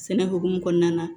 Sɛnɛ hokumu kɔnɔna na